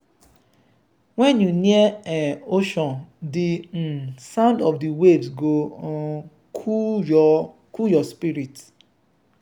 when you near um ocean the um sound of waves go um cool your cool your spirit.